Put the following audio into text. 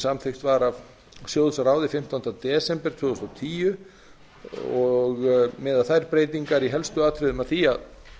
samþykkt var af sjóðsráði fimmtánda desember tvö þúsund og tíu og miða þær breytingar í helstu atriðum að því að